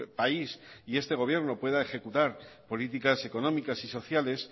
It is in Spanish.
país y este gobierno pueda ejecutar políticas económicas y sociales